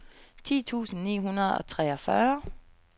ti tusind ni hundrede og treogfyrre